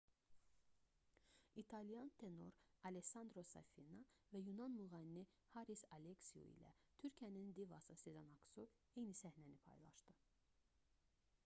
i̇talyan tenor allessandro safina və yunan müğənni haris aleksiu ilə türkiyənin divası sezen aksu eyni səhnəni paylaşdı